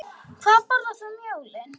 Hvað borðar þú um jólin?